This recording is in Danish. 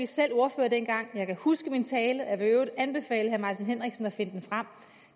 selv ordfører dengang og jeg kan huske min tale og jeg vil i øvrigt anbefale herre martin henriksen at finde den frem